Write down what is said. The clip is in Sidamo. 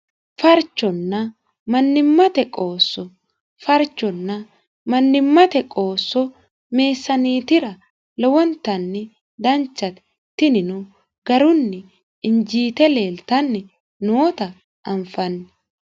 farconna mannimmate qoosso farconna mnnimate qoosso meessaneetira lowonta danchate tinino garunni injiite leeltanni noota anfanni